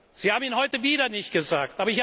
Satz. Sie haben ihn heute wieder nicht gesagt.